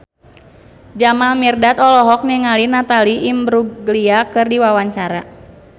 Jamal Mirdad olohok ningali Natalie Imbruglia keur diwawancara